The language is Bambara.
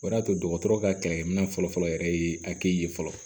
O de y'a to dɔgɔtɔrɔ ka kɛlɛkɛminɛn fɔlɔfɔlɔ yɛrɛ ye hakili ye fɔlɔ